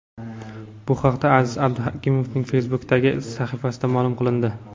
Bu haqda Aziz Abduhakimovning Facebook’dagi sahifasida ma’lum qilindi.